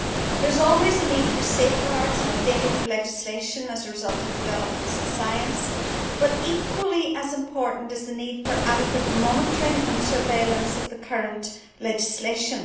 There is always a need for safeguards and updating of legislation as a result of developments in science, but equally important is the need for adequate monitoring and surveillance of the current legislation.